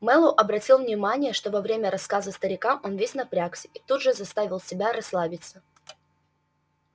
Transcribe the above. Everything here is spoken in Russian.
мэллоу обратил внимание что во время рассказа старика он весь напрягся и тут же заставил себя расслабиться